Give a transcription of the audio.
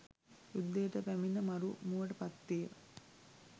යුද්ධයට පැමිණ මරු මුවට පත් විය.